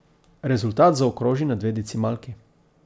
Rezultat zaokroži na dve decimalki.